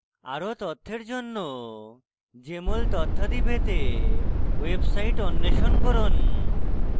আরো তথ্যের জন্য jmol তথ্যাদি পেতে ওয়েবসাইট অন্বেষণ করুন